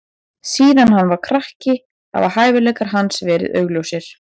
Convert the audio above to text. Síðan hann var krakki hafa hæfileikar hans verið augljósir.